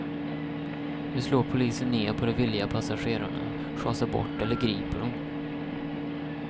Nu slår polisen ned på de villiga passagerarna, sjasar bort eller griper dem.